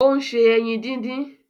Ó ń se ẹyin din-din